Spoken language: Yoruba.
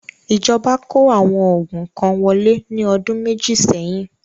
ìjọba kó àwọn oògùn kan wọlé ní ọdún méjì seyin